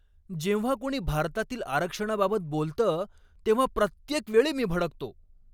जेव्हा कोणी भारतातील आरक्षणाबाबत बोलतं तेव्हा प्रत्येक वेळी मी भडकतो.